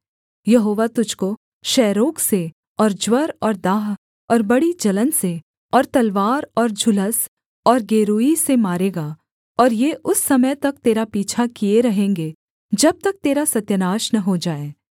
यहोवा तुझको क्षयरोग से और ज्वर और दाह और बड़ी जलन से और तलवार और झुलस और गेरूई से मारेगा और ये उस समय तक तेरा पीछा किए रहेंगे जब तक तेरा सत्यानाश न हो जाए